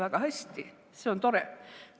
Väga hästi, see on tore.